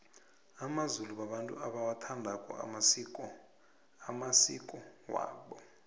amazulu babantu abawathandako amasiko amasiko wabo